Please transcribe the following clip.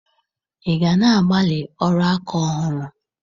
Ị ga na-agbalị ọrụ aka ọhụrụ?